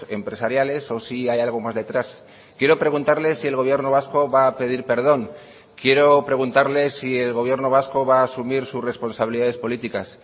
empresariales o si hay algo más detrás quiero preguntarle si el gobierno vasco va a pedir perdón quiero preguntarle si el gobierno vasco va a asumir sus responsabilidades políticas